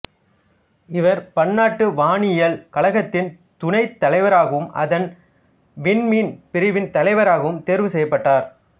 இவர் பன்னாட்டு வானியல் கழகத்தின் துணைத்தலைவராகவும் அதன் விண்மீன் பிரிவின் தலைவராகவும் தேர்வு செய்யப்பட்டார்